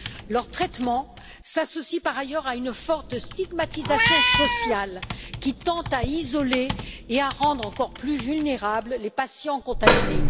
Leur traitement s'associe, par ailleurs, à une forte stigmatisation sociale qui tend à isoler et à rendre encore plus vulnérables les patients contaminés.